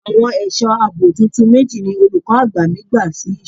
Àwọn ẹ̀sọ́ àbò tuntun méjì ni olùkọ́ àgbà mi gbà sí iṣẹ́.